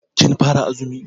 Kin fara azumi?